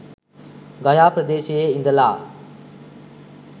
ගයා ප්‍රදේශයේ ඉඳලා